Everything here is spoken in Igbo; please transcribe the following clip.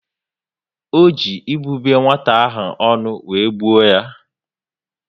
O ji ibube nwata ahụ ọnụ wéré gbuo yá